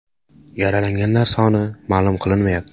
Yaralanganlar soni ma’lum qilinmayapti.